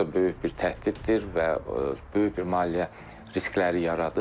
Olduqca böyük bir təhdiddir və böyük bir maliyyə riskləri yaradır.